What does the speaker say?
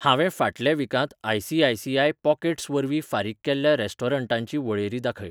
हांवें फाटल्या वीकांत आय.सी.आय.सी.आय पॉकेट्स वरवीं फारीक केल्ल्या रेस्टॉरंटांची वळेरी दाखय.